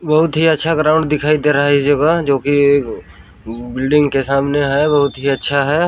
बहुत ही अच्छा ग्राउंड दिखाई दे रहा है इस जगह जोकि एक बिल्डिंग के सामने है बहुत ही अच्छा हैं।